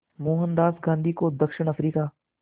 मोहनदास गांधी को दक्षिण अफ्रीका